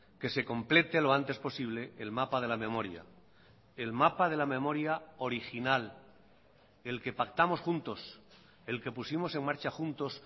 que se complete lo antes posible el mapa de la memoria el mapa de la memoria original el que pactamos juntos el que pusimos en marcha juntos